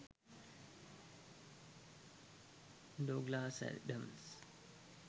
douglas adams